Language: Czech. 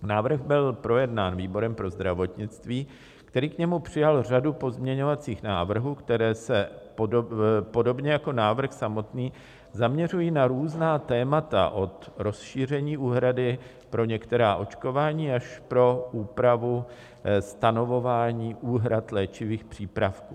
Návrh byl projednán výborem pro zdravotnictví, který k němu přijal řadu pozměňovacích návrhů, které se podobně jako návrh samotný zaměřují na různá témata, od rozšíření úhrady pro některá očkování až po úpravu stanovování úhrad léčivých přípravků.